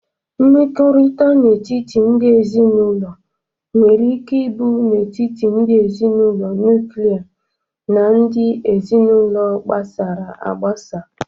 Mmekọrịta n'etiti ndị ezinaụlọ nwere ike ịbụ n'etiti ndị ezinaụlọ nuklia na ndị ezinaụlọ gbasara agbasa.